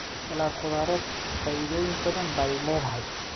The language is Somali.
Salad khudradeed faa'iidooyin badan bay leedahay.